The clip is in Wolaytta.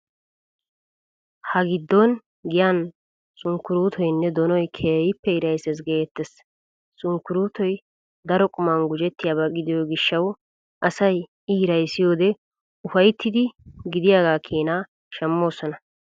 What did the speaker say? Ha giddon giyan sunkkuruutoynne donoy keehin hirayses geettes. Sunkkuruutoy daro quman gujettiyaaba gidiyoo gishshawu asay I hiraysiyoodee ufayttidi gidiyaagaa keenaa shammoosona.